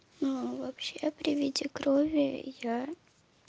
ну вообще при виде крови я